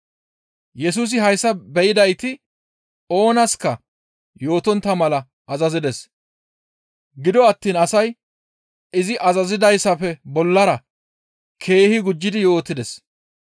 Yesusi hayssa be7idayti oonaska yootontta mala azazides; gido attiin asay izi azazizadayssafe bollara keehi gujjidi yootides.